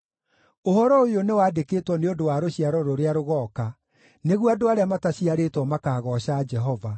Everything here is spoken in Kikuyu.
Ũhoro ũyũ nĩwandĩkwo nĩ ũndũ wa rũciaro rũrĩa rũgooka, nĩguo andũ arĩa mataciarĩtwo makaagooca Jehova: